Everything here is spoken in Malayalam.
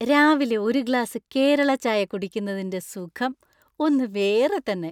രാവിലെ ഒരു ഗ്ലാസ് കേരള ചായ കുടിക്കുന്നതിന്‍റെ സുഖം ഒന്ന് വേറെ തന്നെ .